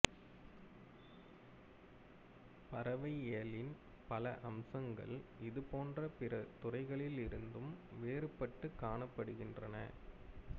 பறவையியலின் பல அம்சங்கள் இதுபோன்ற பிற துறைகளிலிருந்தும் வேறுபட்டுக் காணப்படுகின்றன